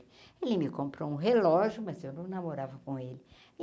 Ele me comprou um relógio, mas eu não namorava com ele.